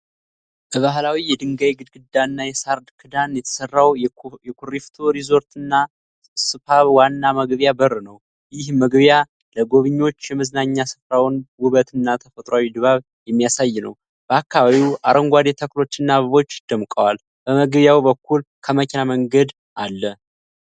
በባህላዊ የድንጋይ ግድግዳና የሳር ክዳን የተሰራው የኩሪፍቱ ሪዞርትና ስፓ ዋና መግቢያ በር ነው። ይህ መግቢያ ለጎብኝዎች የመዝናኛ ሥፍራውን ውበትና ተፈጥሮአዊ ድባብ የሚያሳይ ነው። በአካባቢው አረንጓዴ ተክሎችና አበቦች ደምቀዋል። በመግቢያው በኩል ከመኪና መንገድ አለ።